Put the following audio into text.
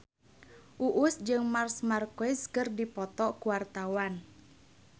Uus jeung Marc Marquez keur dipoto ku wartawan